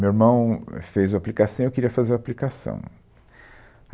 Meu irmão, ãhm, fez o aplicação e eu queria fazer o aplicação.